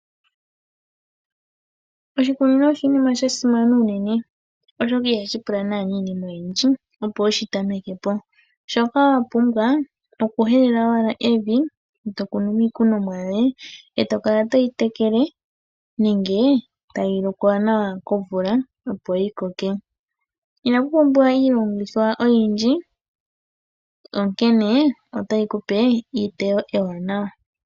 Oshikunino oshinima shasimana unene oshoka i hashi pula naanaa iinima oyindji opo wu shi tameke po, shoka wapumbwa okuhelela owala evi e to kunu mo iikunomwa yoye eto kala toyi tekele nenge tayi lokwa nawa komvula opo yi ko ke. Inaku pumbiwa iilongithwa oyindji onkene otayi kuvpe etewo ewaanawa.